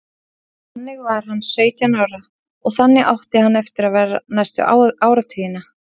Þannig var hann sautján ára og þannig átti hann eftir að vera næstu áratugina.